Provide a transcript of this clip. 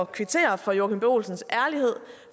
kvittere for joachim b olsens ærlighed